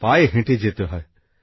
পায়ে হেটে যেতে হয়